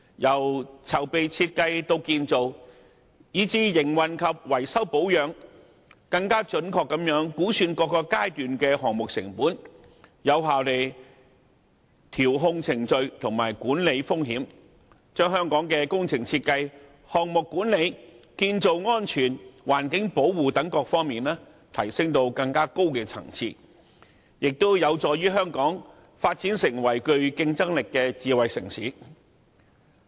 由籌備設計到建造，以至營運及維修保養，更準確估算各個階段的項目成本，有效調控程序及管理風險，把香港在工程設計、項目管理、建造安全及環境保護等各方面，提升至更高層次，同時有助香港發展成為具競爭力的智慧城市。